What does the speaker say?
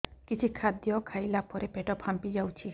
କିଛି ଖାଦ୍ୟ ଖାଇଲା ପରେ ପେଟ ଫାମ୍ପି ଯାଉଛି